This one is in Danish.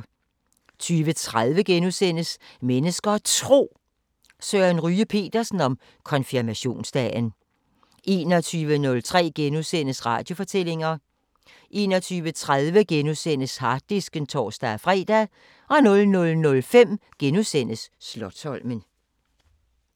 20:30: Mennesker og Tro: Søren Ryge Petersen om konfirmationsdagen * 21:03: Radiofortællinger * 21:30: Harddisken *(tor-fre) 00:05: Slotsholmen *